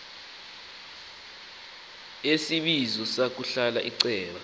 yesibizo ngokulahla iceba